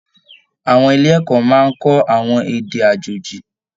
Àwọn ilé ẹ̀kọ́ máa n kọ àwọn èdè àjòjì.